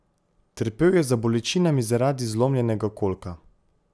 Trpel je za bolečinami zaradi zlomljenega kolka.